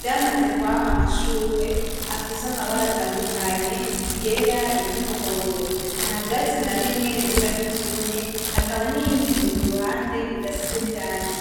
vyamaze kwama amashurwe afise amabara atandukanye iryera, ury’ umuhondo. Nta vyatsi na bimwe bisa nk’ivyumye, hakaba n’iyindi nzu ku ruhande isize irangi.